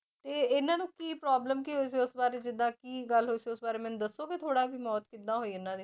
ਤੇ ਇਹਨਾਂ ਨੂੰ ਕੀ problem ਕੀ ਹੋਈ ਸੀ ਉਸ ਬਾਰੇ ਜਿੱਦਾਂ ਕੀ ਗੱਲ ਹੋਈ ਸੀ ਉਸ ਬਾਰੇ ਮੈਨੂੰ ਦੱਸੋਗੇ ਥੋੜ੍ਹਾ ਕਿ ਮੌਤ ਕਿੱਦਾਂ ਹੋਈ ਇਹਨਾਂ ਦੀ?